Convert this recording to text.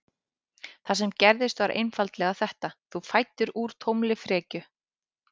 Það sem gerðist var einfaldlega þetta: Þú fæddir úr tómri frekju.